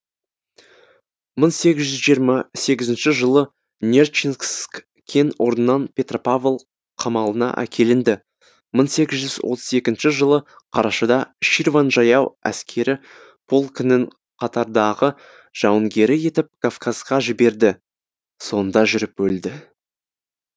мың сегіз жүз жиырма сегізінші жылы нерчинск кен орнынан петропавл қамалына әкелінді мың сегіз жүз отыз екінші жылы қарашада ширван жаяу әскері полкінің қатардағы жауынгері етіп кавказға жіберді сонда жүріп өлді